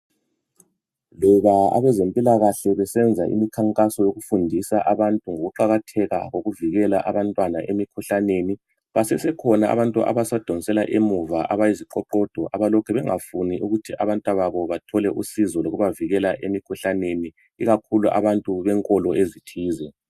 Loba abezempilakahle besenza umkhankaso wokufundisa abantu ngokuqakatheka kokuvikela abantwana emikhuhlaneni, basesekhona abantu abasadonsela emuva, abayiziqoqodo abalokhe bengafuni ukuthi abantwababo bathole usizo lokubavikela emikhuhlaneni, ikakhulu abantu benkolo ezithize.